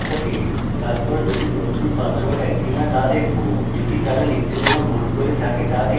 তারপর দুটি নতুন পাসওয়ার্ড এক কিনা তা দেখব যদি তারা লিখতে কোনো ভুল করে থাকে তা দেখতে